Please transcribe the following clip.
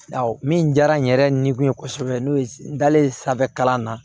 Awɔ min diyara n yɛrɛ ni kun ye kosɛbɛ n'o ye n dalen sanfɛ kalan na